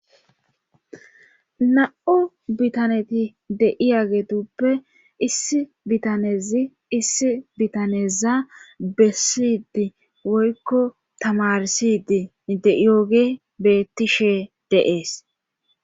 Da'o bitaneti de'iya getuppe issi bitanezi issi bitaneza bessidi woykko tamarssidi de'yoogey beettishe dees.